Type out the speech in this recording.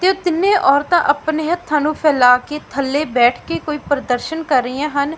ਤੇ ਉਹ ਤਿੰਨੇ ਔਰਤਾਂ ਆਪਣੇ ਹੱਥਾਂ ਨੂੰ ਫੈਲਾ ਕੇ ਥੱਲੇ ਬੈਠ ਕੇ ਕੋਈ ਪ੍ਰਦਰਸ਼ਨ ਕਰ ਰਹੀਆਂ ਹਨ।